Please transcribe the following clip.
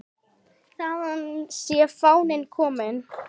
Þaðan sé fáninn kominn.